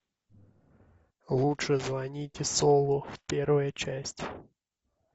лучше звоните солу первая часть